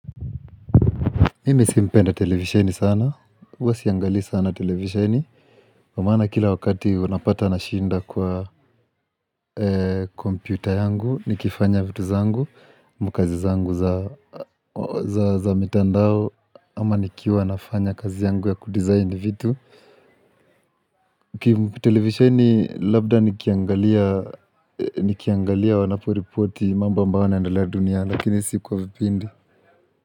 Mimi si mpenda televisheni sana, huwa siangalii sana televisheni Kwa maana kila wakati unapata nashinda kwa komputa yangu Nikifanya vitu zangu, ama kazi zangu za mitandao ama nikiwa nafanya kazi yangu ya kudesign vitu Niki televisheni labda nikiangalia, nikiangalia wanaporipoti mambo ambayo huwa inaendelea duniani lakini si kwa vipindi.